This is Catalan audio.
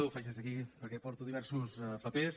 ho faig des d’aquí perquè porto diversos papers